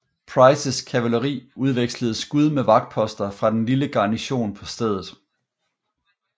Prices kavaleri udvekslede skud med vagtposter fra den lille garnison på stedet